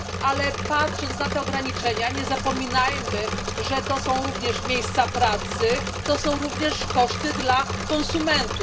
ale patrząc na te ograniczenia, nie zapominajmy, że to są również miejsca pracy, to są również koszty dla konsumentów.